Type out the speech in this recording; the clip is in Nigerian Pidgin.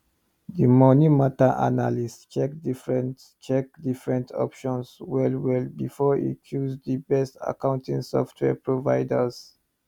di money matter analyst check different check different options well well before e choose the best accounting software providers